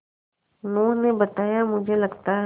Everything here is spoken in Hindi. उन्होंने बताया मुझे लगता है